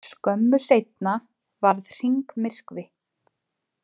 Skömmu seinna varð hringmyrkvi.